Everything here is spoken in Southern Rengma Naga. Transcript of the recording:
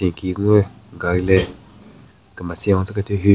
Tsü nyeki gungü gari le kemetsen ho tsü kethyu hu.